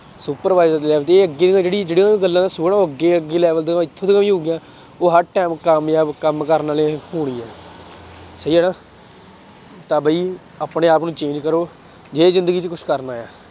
Supervisor ਅੱਗੇ ਜਿਹੜੀ ਜਿਹੜੀਆਂ ਗੱਲਾਂ ਅੱਗੇ ਅੱਗੇ level ਦਾ ਹੀ ਹੋ ਗਿਆ, ਉਹ ਹਰ time ਕਾਮਯਾਬ ਕੰਮ ਕਰਨ ਵਾਲੇ ਹੋਣੀ ਆ, ਸਹੀ ਆ ਨਾ ਤਾਂ ਬਈ ਆਪਣੇ ਆਪ ਨੂੰ change ਕਰੋ ਜੇ ਜ਼ਿੰਦਗੀ ਚ ਕੁਛ ਕਰਨਾ ਹੈ